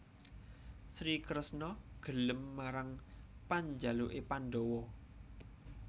Sri Kresna gelem marang panjaluké pandhawa